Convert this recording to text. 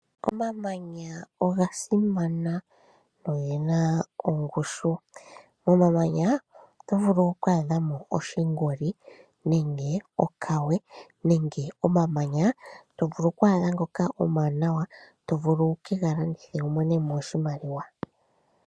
Omamanya oga simana go oge na ongushu. Momamanya oto vulu oku adha mo oshingoli nenge okawe nenge omamanya to vulu oku adha ngoka omawanawa to vulu wu ke ga landithe wu mone mo oshimaliwa.